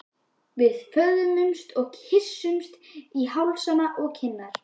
Við föðmumst og kyssumst á hálsana og kinnarnar.